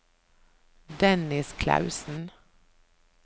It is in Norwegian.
Dennis Clausen